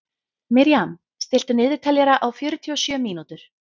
Miriam, stilltu niðurteljara á fjörutíu og sjö mínútur.